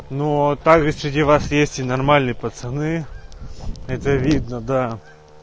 ну а также среди вас есть и нормальные пацаны это видно да